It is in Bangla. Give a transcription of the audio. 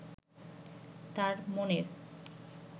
তার মনের